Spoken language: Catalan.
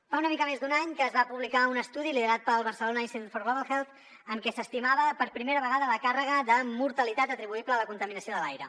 fa una mica més d’un any que es va publicar un estudi liderat pel barcelona institute for global health en què s’estimava per primera vegada la càrrega de mortalitat atribuïble a la contaminació de l’aire